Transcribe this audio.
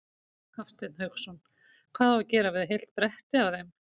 Hafsteinn Hauksson: Hvað á að gera við heilt bretti af þeim?